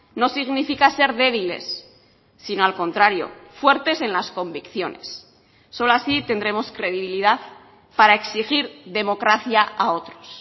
no significa ser débiles sino al contrario fuertes en las convicciones solo así tendremos credibilidad para exigir democracia a otros